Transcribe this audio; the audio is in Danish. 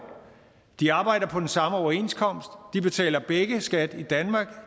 de arbejder på den samme overenskomst de betaler begge skat i danmark